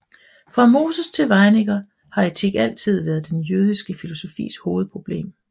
Fra Moses til Weininger har etik altid været den jødiske filosofis hovedproblem